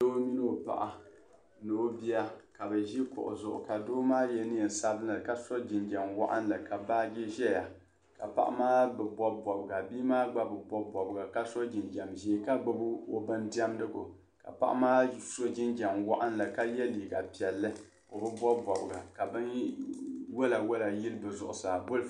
Doo mini o paɣa ka bi ʒi kuɣu zuɣu ka doo ma ye neen' sabinli ka so jinjam waɣinli ka baaji zaya ka paɣa maa bi bobi bobiga bia maa gba bi bobi bobiga ka so jinjam ʒee ka gbubi o bin diɛmdi gu ka paɣa maa so jinjam waɣinli ka ye liiga piɛlli o bi bobi bobiga ka binwɔla yili di zuɣu saa.